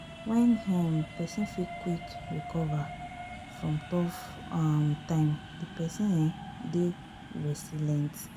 When um person fit quick recover from tough um time di person um dey resilient